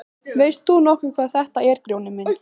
Veist þú nokkuð hvað þetta er Grjóni minn.